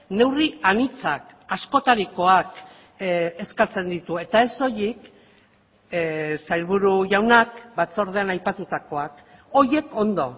neurri anitzak askotarikoak eskatzen ditu eta ez soilik sailburu jaunak batzordean aipatutakoak horiek ondo